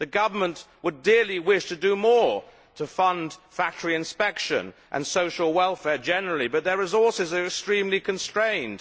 The government would dearly wish to do more to fund factory inspection and social welfare generally, but their resources are extremely constrained.